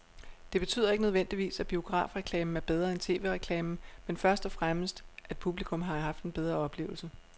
Det betyder ikke nødvendigvis, at biografreklamen er bedre end tv-reklamen, men først og fremmest at publikum har haft en bedre oplevelse.